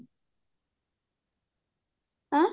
ଆଁ